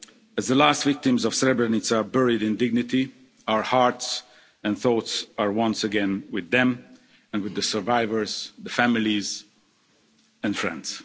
As the last victims of Srebrenica are buried in dignity, our hearts and thoughts are once again with them and with the survivors, the families and friends.